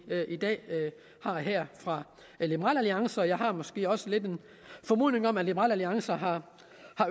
i dag har her fra liberal alliance og jeg har måske også lidt en formodning om at liberal alliance har